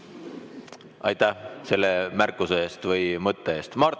Aitäh selle märkuse eest või mõtte eest!